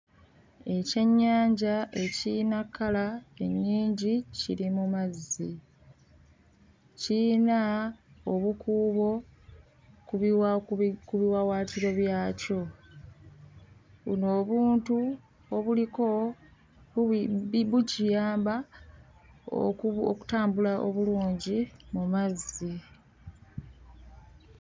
Ekyennyanja ekiyina kkala ennyingi kiri mu mazzi. Kiyina obukuubo ku biwa... ku biwawaatiro byakyo. Buno obuntu obuliko bukiyamba oku... okutambula obulungi mu mazzi.